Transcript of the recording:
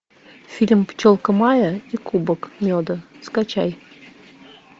фильм пчелка майя и кубок меда скачай